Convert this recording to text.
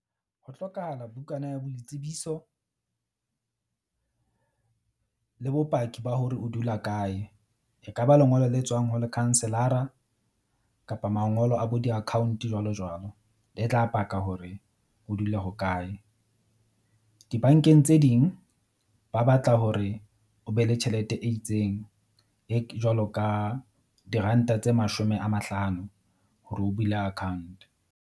Ho hlokahala bukana ya boitsebiso le bopaki ba hore o dula kae. E ka ba lengolo le tswang ho lekhanselara kapa mangolo a bo di-account jwalo jwalo le tla paka hore o dula hokae. Di-bank-eng tse ding ba batla hore o be le tjhelete e itseng e jwalo ka diranta tse mashome a mahlano hore o bule account.